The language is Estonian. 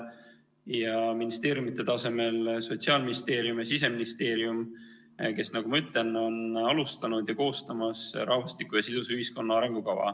Ja ministeeriumide tasemel Sotsiaalministeerium ja Siseministeerium, kes, nagu ma ütlen, on alustanud ja koostamas rahvastiku ja sidusa ühiskonna arengukava.